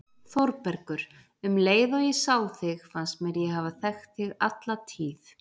ÞÓRBERGUR: Um leið og ég sá þig fannst mér ég hafa þekkt þig alla tíð.